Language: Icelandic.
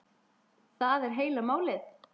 Það er heila málið!